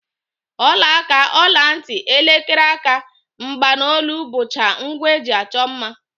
Ọlaaka, ọlantị, elekere aka, mgbanolu bụcha ngwa e ji achọ mma